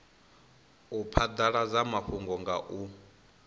u phadaladza mafhungo nga u